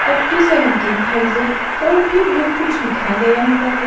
Up to seventeen thousand और भी बहुत कुछ लिखा गया हुआ है।